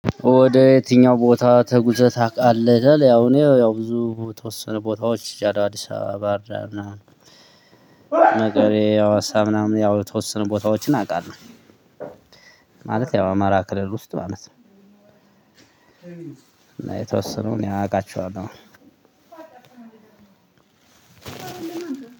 ወደ የትኛው ቦታ ተጉዘህ ታውቃለህ? ይላል ያው እኔ ያው ብዙ የተወሰነ ቦታዎች ሄጃለሁ አዲስ አበባ ባህርዳር ምናምን መቀሌ ያው ሀዋሳ ምናምን ያው የተወሰ ቦታዎችን አውቃለሁ። ማለት ያው አማራ ክልል ውስጥ ማለት ነው። እና የተወሰኑ እኔ አቃቸዋለሁ።